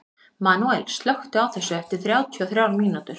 Manuel, slökktu á þessu eftir þrjátíu og þrjár mínútur.